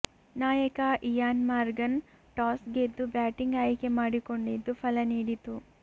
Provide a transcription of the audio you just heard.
ನಾಯಕ Eoin Morgan toss ಗೆದ್ದು batting ಆಯ್ಕೆ ಮಾಡಿಕೊಂಡಿದ್ದು ಫಲ ನೀಡಿತು